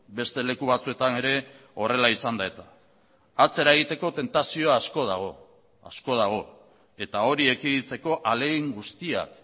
beste leku batzuetan ere horrela izan da eta atzera egiteko tentazio asko dago asko dago eta hori ekiditeko ahalegin guztiak